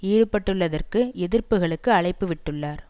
ஈடுபட்டுள்ளதற்கு எதிர்ப்புக்களுக்கு அழைப்புவிட்டுள்ளார்